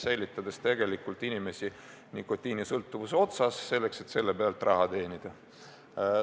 Püütakse hoida inimesi nikotiinisõltuvuse lõa otsas, et selle pealt raha teenida.